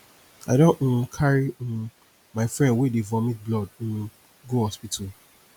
i don um carry um my friend wey dey vomit blood um go hospital